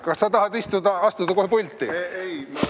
Kas sa tahad istuda-astuda kohe pulti?